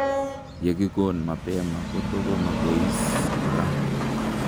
Yekikoon mapema koto komabois koraa